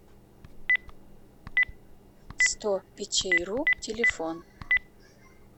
сто печейру телефон